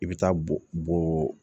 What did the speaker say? I bɛ taa bo bo